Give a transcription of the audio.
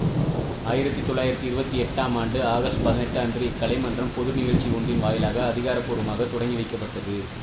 ஆயிரத்தி தொள்ளாயிரத்தி இருபத்தி எட்டாம் ஆண்டு ஆகஸ்ட் பதினெட்டு அன்று இக்கலை மன்றம் பொது நிகழ்ச்சி ஒன்றின் வாயிலாக அதிகார பூர்வமாக தொடங்கி வைக்கப்பட்டது